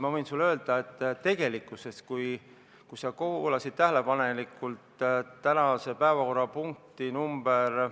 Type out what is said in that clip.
Ma võin sulle öelda, et kui sa kuulasid tähelepanelikult tänase päevakorra punkti number ...